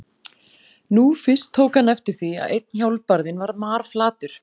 Nú fyrst tók hann eftir því að einn hjólbarðinn var marflatur.